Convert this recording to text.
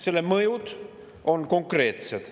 Selle mõjud on konkreetsed.